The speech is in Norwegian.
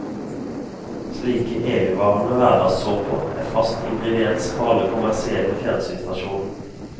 Slike evigvarende hverdagssåper er fast ingrediens på alle kommersielle fjernsynsstasjoner.